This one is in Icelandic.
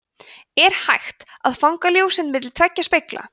er hægt að fanga ljóseind milli tveggja spegla